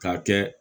K'a kɛ